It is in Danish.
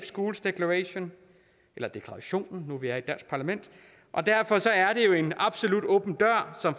schools declaration eller deklarationen nu hvor vi er et dansk parlament og derfor er det jo en absolut åben dør som